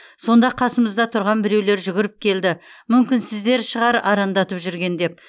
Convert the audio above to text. сонда қасымызда тұрған біреулер жүгіріп келді мүмкін сіздер шығар арандатып жүрген деп